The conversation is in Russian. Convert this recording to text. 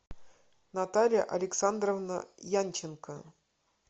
наталья александровна янченко